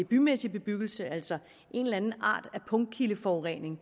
bymæssig bebyggelse altså en eller anden art af punktkildeforurening